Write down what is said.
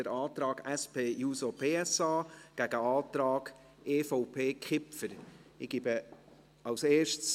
Der Antrag SP-JUSO-PSA steht dem Antrag EVP/Kipfer gegenüber.